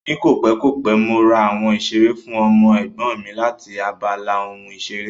Ní kòpẹ́ kòpẹ́, mo ra àwọn ìṣeré fún ọmọ Ẹ̀gbọ́n mi láti abala ohun ìṣeré